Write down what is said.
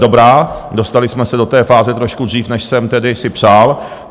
Dobrá, dostali jsme se do té fáze trošku dřív, než jsem tedy si přál.